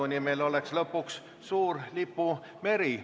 Lõpuks oleks meil seal suur lipumeri.